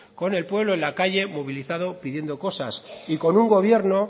con el pueblo en la calle movilizado pidiendo cosas y con un gobierno